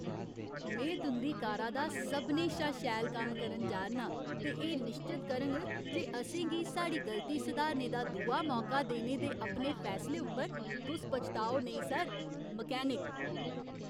में तुं'दी कारा दा सभनें शा शैल कम्म करन जा 'रना आं ते एह् निश्चत करङ जे असें गी साढ़ी गलती सधारने दा दूआ मौका देने दे अपने फैसले उप्पर तुस पछताओ नेईं, सर! मकैनिक